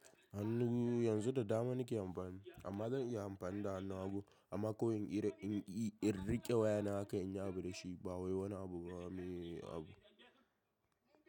Hannu yanzu da dama nake amfani amma zan iya amfani da hannu hagu amma ko in in rike waya na haka in yi abu da shi ba wai wani abu ba mu yi abu.